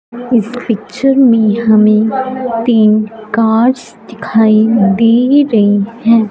इस पिक्चर में हमें तीन कांच दिखाई दे रहें हैं।